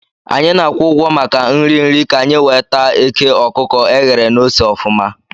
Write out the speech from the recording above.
Anyị na-akwụ ụgwọ maka nri nri ka-anyi wee taa eke okuko eghere na ose ofuma